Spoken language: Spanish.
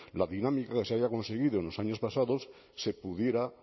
la dinámica que se había conseguido en los años pasados se pudiera